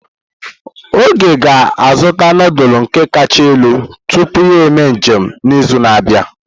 Oge ga-azụta nudulu ndi kacha elu tupu ya eme njem n'izu na-abịa.